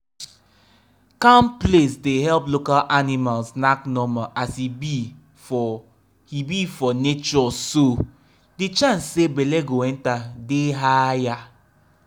calm place day help local animals knack normal as he be for he be for natureso the chance say belle go enter day higher.